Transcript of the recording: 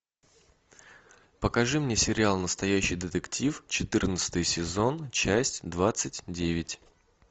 покажи мне сериал настоящий детектив четырнадцатый сезон часть двадцать девять